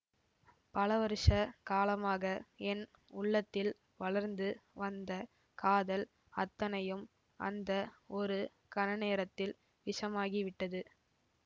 பலவருஷ காலமாக என் உள்ளத்தில் வளர்ந்து வந்த காதல் அத்தனையும் அந்த ஒரு கண நேரத்தில் விஷமாகிவிட்டது